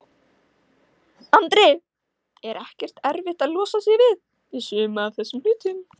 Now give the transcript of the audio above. Andri: Er ekkert erfitt að losa sig við, við suma af þessum hlutum?